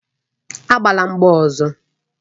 Agbala mgba ọzọ!